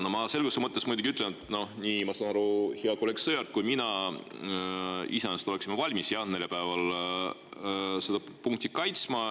No ma selguse mõttes muidugi ütlen, et nagu ma aru saan, oleks hea kolleeg Sõerd ja olen ka mina iseenesest valmis neljapäeval seda punkti kaitsma.